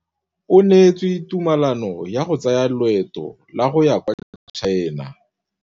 O neetswe tumalanô ya go tsaya loetô la go ya kwa China.